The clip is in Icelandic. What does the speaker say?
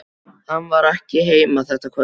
Hann var ekki heima þetta kvöld.